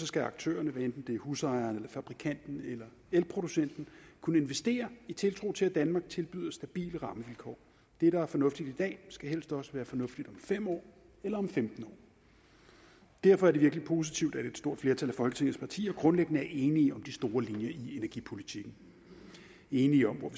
skal aktørerne hvad enten det er husejeren eller fabrikanten eller elproducenten kunne investere i tiltro til at danmark tilbyder stabile rammevilkår det der er fornuftigt i dag skal helst også være fornuftigt om fem år eller om femten år derfor er det virkelig positivt at et stort flertal af folketingets partier grundlæggende er enige om de store linjer i energipolitikken enige om hvor